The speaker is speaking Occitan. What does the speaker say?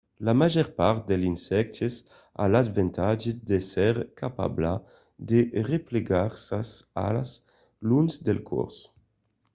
la màger part dels insèctes a l'avantatge d'èsser capabla de replegar sas alas long del còrs